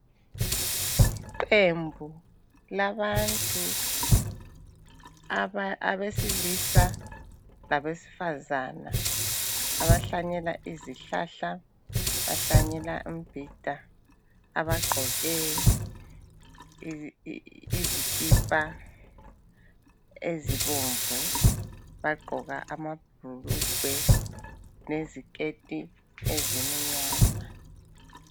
Iqembu labantu abesilisa labesifazana abahlanyela izihlahla abahlanyela imbhida. Abagqoke izikipa ezibomvu abagqoka amabhulugwe leziketi ezimnyama.